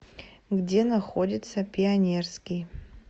где находится пионерский